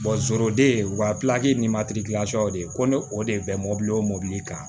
wa ni ma de ko ne o de ye bɛn mobili ye o mobili kan